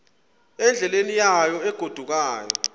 endleleni yayo egodukayo